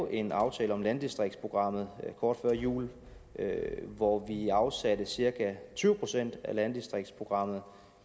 en aftale om landdistriktsprogrammet kort før jul hvor vi afsatte cirka tyve procent af landdistriktsprogrammet